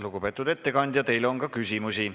Lugupeetud ettekandja, teile on ka küsimusi.